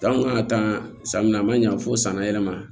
Dan kun kan ka taa san min na a man ɲa fo san yɛrɛ ma